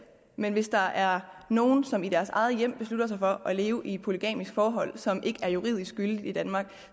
men hvis der er nogen som i deres egne hjem har besluttet sig for at leve i et polygamisk forhold som ikke er juridisk gyldigt i danmark